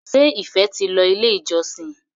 ṣe ìfé tí ló ilé ìjósìn?